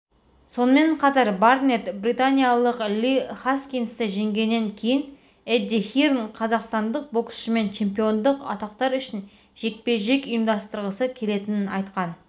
сонымен қатар барнетт британиялық ли хаскинсті жеңгеннен кейін эдди хирн қазақстандық боксшымен чемпиондық атақтар үшін жекпе-жек ұйымдастырғысы келетінін айтқан